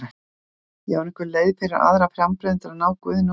Já, er einhver leið fyrir aðra frambjóðendur að ná Guðna úr þessu?